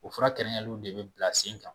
O fura kɛnɛnyaliw de bi bila sen kan